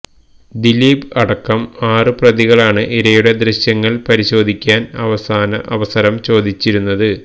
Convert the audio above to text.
ദിലീപ് അടക്കം ആറ് പ്രതികളാണ് ഇരയുടെ ദൃശ്യങ്ങൾ പരിശോധിക്കാൻ അവസരം ചോദിച്ചിരുന്നത്